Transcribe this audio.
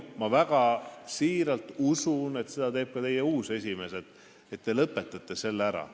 Ma väga siiralt usun, et nii arvab ka teie uus esimees ja te lõpetate selle asja ära.